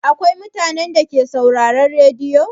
Akwai mutanen Dake sauraron rediyo?